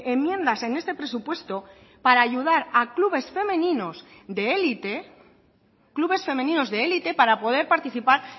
enmiendas en este presupuesto para ayudar a clubes femeninos de elite clubes femeninos de elite para poder participar